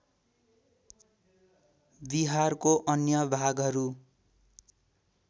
बिहारको अन्य भागहरू